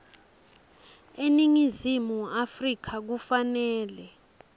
eningizimu afrika kufanele